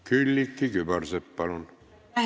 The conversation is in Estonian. Külliki Kübarsepp, palun!